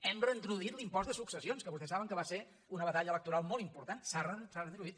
hem reintroduït l’impost de successions que vostès saben que va ser una batalla electoral molt important s’ha reintroduït